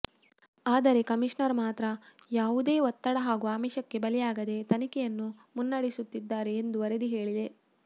ಆದರೆ ಕಮಿಷನರ್ ಮಾತ್ರ ಯಾವುದೇ ಒತ್ತಡ ಹಾಗು ಆಮಿಷಕ್ಕೆ ಬಲಿಯಾಗದೆ ತನಿಖೆಯನ್ನು ಮುನ್ನಡೆಸುತ್ತಿದ್ದಾರೆ ಎಂದು ವರದಿ ಹೇಳಿದೆ